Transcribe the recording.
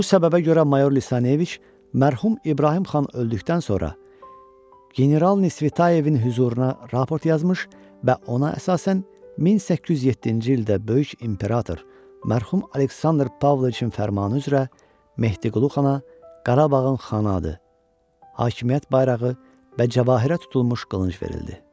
Bu səbəbə görə mayor Lisaneviç mərhum İbrahim xan öldükdən sonra General Nisvitayevin hüzuruna raport yazmış və ona əsasən 1807-ci ildə böyük imperator mərhum Aleksandr Pavloviçin fərmanı üzrə Mehdiqulu xana Qarabağın xan adı, hakimiyyət bayrağı və cəvahirdə tutulmuş qılınc verildi.